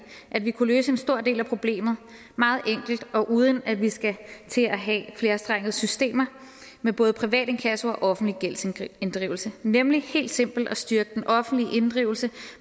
kunne løse en stor del af problemet meget enkelt og uden at vi skal til at have flerstrengede systemer med både privat inkasso og offentlige gældsinddrivelse nemlig ved helt simpelt at styrke den offentlige inddrivelse